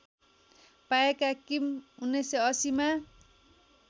पाएका किम १९८०मा